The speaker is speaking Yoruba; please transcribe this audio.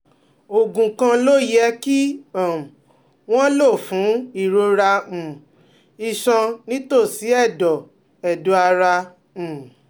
Oògùn kan ló yẹ kí um wọ́n lò fún ìrora um iṣan nítòsí ẹ̀dọ̀ ẹ̀dọ̀ ara um